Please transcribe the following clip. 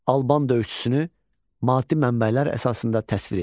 Alban döyüşçüsünü maddi mənbələr əsasında təsvir edin.